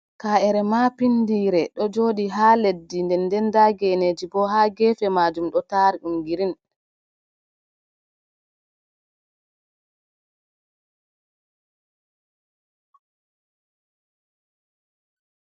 Kaa’ere maa pindiire ɗo jooɗi haa leddi nden ndenta boo nda a geeneeji boo haa geefe majaum ɗo taari ɗum girin.